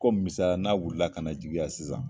Ko misaliya la n'a wulila ka na jigi yan sisan